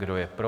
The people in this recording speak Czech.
Kdo je pro?